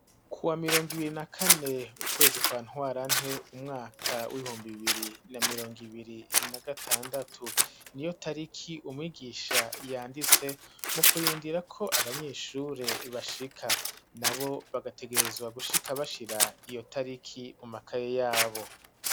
Kuwa mirongo ibiri na kane, ukwezi kwa ntwarante, umwaka w'ibihumbi bibiri na mirongo ibiri na gatandatu; niyo tariki umwigisha yanditse mu kurindira ko abanyeshure bashika, nabo bagategerezwa gushika bashira iyo tariki mu makaye yabo.